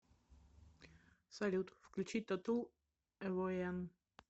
салют включить татул эвоян